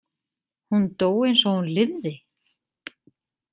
Hún dó eins og hún lifði?